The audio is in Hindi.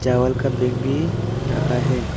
डबल का बैग भी रखा है।